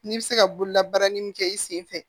N'i bɛ se ka bolola baara ni min kɛ i sen fɛ